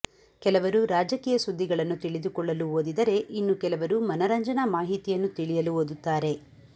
ಕೆಲವರು ರಾಜಕೀಯ ಸುದ್ದಿಗಳನ್ನು ತಿಳಿದುಕೊಳ್ಳಲು ಓದಿದರೆ ಇನ್ನು ಕೆಲವರು ಮನರಂಜನಾ ಮಾಹಿತಿಯನ್ನು ತಿಳಿಯಲು ಓದುತ್ತಾರೆ